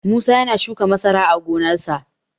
Musa ya na shuka masara a gonarsa.